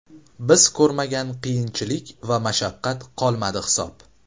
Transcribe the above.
Biz ko‘rmagan qiyinchilik va mashaqqat qolmadi hisob.